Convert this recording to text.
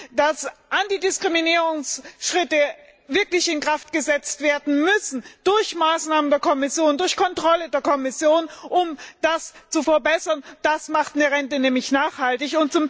h. dass Antidiskriminierungsschritte wirklich in Kraft gesetzt werden müssen durch Maßnahmen der Kommission, durch die Kontrolle der Kommission, um das zu verbessern, denn das macht Renten nachhaltig.